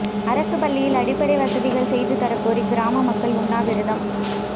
அரசுப் பள்ளியில் அடிப்படை வசதிகள் செய்து தரக் கோரி கிராம மக்கள் உண்ணாவிரதம்